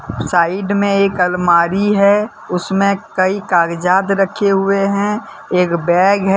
Side में एक अलमारी है उसमें कई कागजात रखे हुए हैं एक बैग है।